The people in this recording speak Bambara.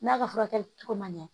N'a ka furakɛli cogo man ɲɛ